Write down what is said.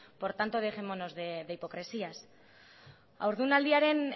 por tanto dejémonos de hipocresías haurdunaldiaren